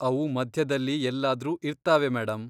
ಅವು ಮಧ್ಯದಲ್ಲಿ ಎಲ್ಲಾದ್ರೂ ಇರ್ತಾವೆ ಮೇಡಂ.